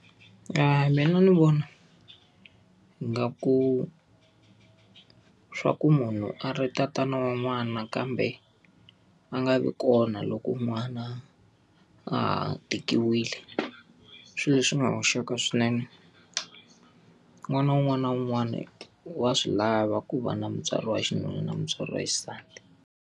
mina ni vona ingaku swa ku munhu a ri tatana wa n'wana kambe a nga vi kona loko n'wana a tekiwile, i swilo leswi nga hoxeka swinene. N'wana wun'wana na wun'wana wa swi lava ku va na mutswari wa xinuna na mutswari wa xisati.